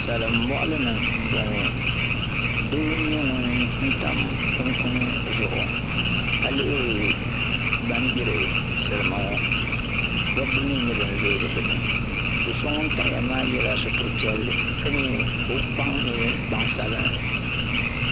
saim bɔɣali ni m bɔŋɔ doo n nyɛ ŋun tam kun kuni zuɣu ka lihiri ban gburi salima ŋɔ dɔbi mi n nyɛ ban zoogi bɛ ni do so ŋun tamya maa yɛla sutiri piɛli ka nyee ka o gbaŋ nyɛ gbaŋ sabinli